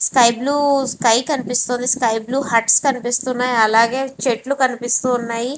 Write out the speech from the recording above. sky blue sky కనిపిస్తుంది sky blue huts కనిపిస్తున్నాయి అలాగే స్కై బ్లూ చెట్లు కనిపిస్తున్నాయి --